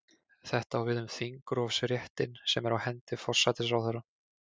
Þetta á við um þingrofsréttinn sem er á hendi forsætisráðherra.